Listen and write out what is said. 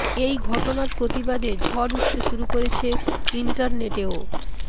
এই ঘটনার প্রতিবাদে ঝড় উঠতে শুরু করেছে ইন্টারনেটেও